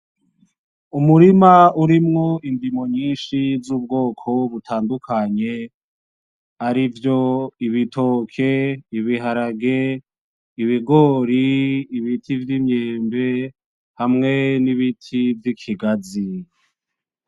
Umurima urimwo indimo nyishi z'ubwoko butandukanye arivyo :ibitoki, ibiharage ,ibigori ,ibiti vy'imyembe hamwe nibiti vy'ikigazi